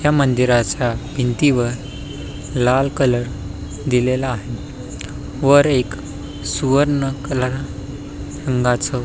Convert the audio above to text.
ह्या मंदिराच्या भिंतीवर लाल कलर दिलेला आहे वर एक सुवर्ण कलर रंगाच--